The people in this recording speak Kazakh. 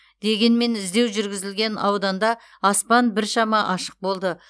дегенмен іздеу жүргізілген ауданда аспан біршама ашық болды